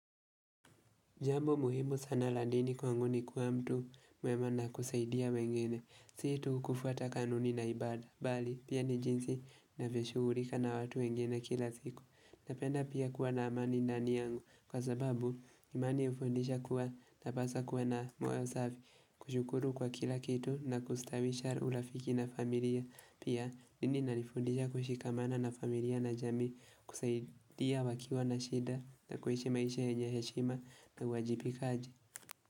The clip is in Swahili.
Jambo muhimu sana la dini kwangu ni kuwa mtu mwema na kusaidia wengine, si tu kufuata kanuni na ibada, bali pia ni jinsi navyoshugulika na watu wengine kila siku. Napenda pia kuwa na amani ndani yangu kwa sababu imani hufundisha kuwa napaswa kuwa na moyo safi. Kushukuru kwa kila kitu na kustawisha urafiki na familia. Pia dini inanifundisha kushikamana na familia na jamii kusaidia wakiwa na shida na kuishi maisha yenye heshima na uwajibikaji.